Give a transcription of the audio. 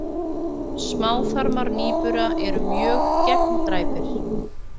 Smáþarmar nýbura eru mjög gegndræpir.